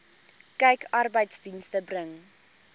kyk arbeidsdienste bring